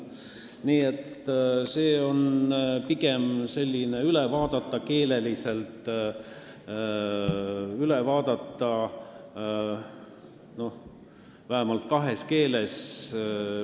Nii et see on pigem selline tekst, mis tuleb keeleliselt üle vaadata ja vähemalt kahes keeles.